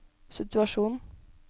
situasjon